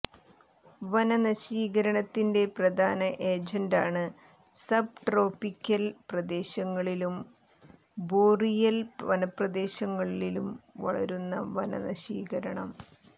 വനനശീകരണത്തിന്റെ പ്രധാന ഏജന്റാണ് subtropical പ്രദേശങ്ങളിലും ബോറിയൽ വനപ്രദേശങ്ങളിലും വളരുന്ന വനനശീകരണം